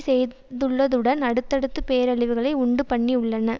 செய்துள்ளதுடன் அடுத்தடுத்து பேரழிவுகளை உண்டுபண்ணியுள்ளன